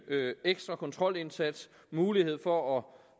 ekstra kontrolindsats mulighed for at